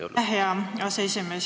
Aitäh, hea aseesimees!